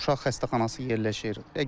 Uşaq xəstəxanası yerləşir.